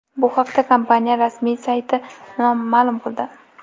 Bu haqda kompaniya rasmiy sayti ma’lum qildi .